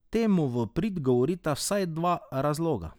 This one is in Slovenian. Temu v prid govorita vsaj dva razloga.